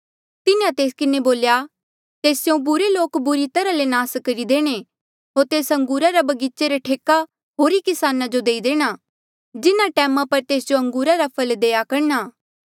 तिन्हें तेस किन्हें बोल्या तेस स्यों बुरे लोक बुरी तरहा ले नास करी देणे होर तेस अंगूरा रे बगीचा रे ठेका होरी किसाना जो देई देणा जिन्हा टैमा पर तेस जो अंगूरा रा फल देआ करणा